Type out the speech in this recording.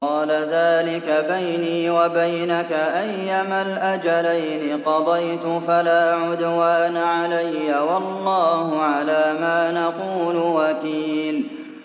قَالَ ذَٰلِكَ بَيْنِي وَبَيْنَكَ ۖ أَيَّمَا الْأَجَلَيْنِ قَضَيْتُ فَلَا عُدْوَانَ عَلَيَّ ۖ وَاللَّهُ عَلَىٰ مَا نَقُولُ وَكِيلٌ